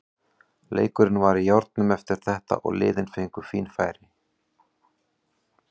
Leikurinn var í járnum eftir þetta og liðin fengu fín færi.